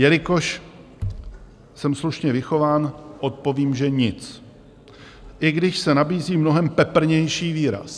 Jelikož jsem slušně vychován, odpovím, že nic, i když se nabízí mnohem peprnější výraz.